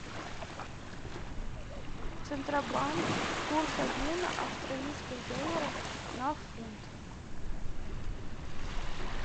центробанк курс обмена австралийских долларов на фунт